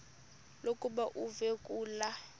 lokuba uve kulaa